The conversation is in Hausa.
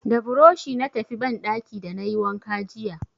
Da burushi na tafi banɗaki da na yi wanka jiya.